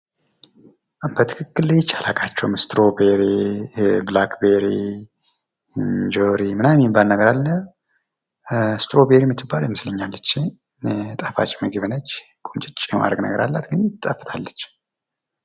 በትክክል ለይቼ አላውቃቸውም እስትሮቤሪ ፣ብላክ ቤሪ፣ እንጆሪ ምንምን የሚባል ነገር አለ እንጆሪ የምትባለው ይመስለኛል ይቺ ጣፋጭ ምግብ ነች፤ ሁምጭጭ የማረግ ነገር አላት ግን ትጣፍጣለች።